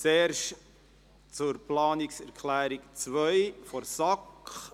Zuerst zur Planungserklärung 2 der SAK.